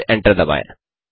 फिर एंटर दबाएँ